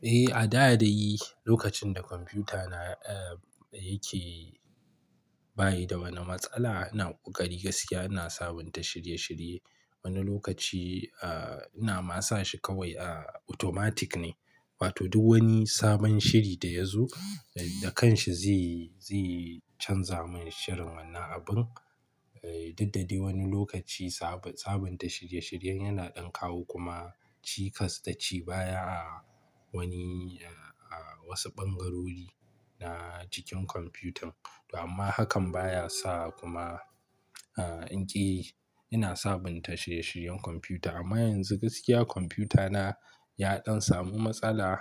Eh, a da dai lokacin da kwamfuta na, eh, yake bayi da wani matsala ina ƙoƙari gaskiya ina sabunta shirye-shirye. Wani lokaci, ah, ina ma sa shi kawai, ah, automatic ne. Wato duk wani sabon shiri da ya zo, da kanshi zai, zai canza mun shirin wannan abin. Eh, duk da dai wani lokaci Saba-sabunta shirye-shiryen yana ɗan kawo kuma cikas da ci baya a wani, a wasu ɓangarori na jikin kwamfutan. Amma hakan baya sa kuma, ah, in ƙi ina sabunta shirye-shiryen kwamfuta. Amma yanzu gaskiya kwamfuta na ya ɗan samu matsala.